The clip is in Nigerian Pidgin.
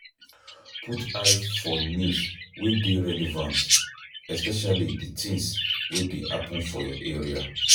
Put eye for news wey dey relevant, especially di things wey dey happen for your area